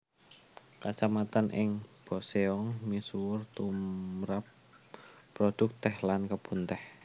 Kacamatan ing Boseong misuwur tumrap produk teh lan kebun teh